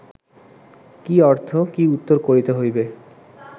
কি অর্থ, কি উত্তর করিতে হইবে